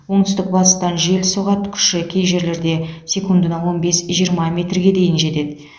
оңтүстік батыстан жел соғады күші кей жерлерде секундына он бес жиырма метрге дейін жетеді